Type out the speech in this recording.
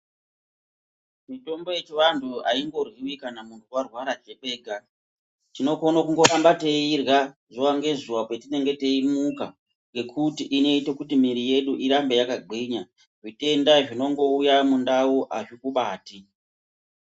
Mitombo yechianhu aingorwiwi kana munthu warwara kwega tinokone kiramba teiirya zuwa ngezuea petinenge taimuka ngekuti invite kuti miiri yedu irambe yakagwinya zvitenda zvinongoiya mundau azvikubati.